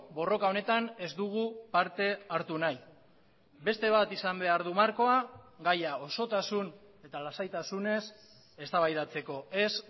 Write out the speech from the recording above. borroka honetan ez dugu parte hartu nahi beste bat izan behar du markoa gaia osotasun eta lasaitasunez eztabaidatzeko ez